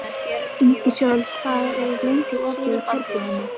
Ingisól, hvað er lengi opið í Kjörbúðinni?